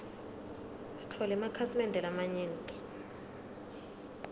sitfole emakhasi mende lamanyenti